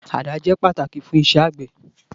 Àdá jẹ pataki fun íṣẹ agbẹ.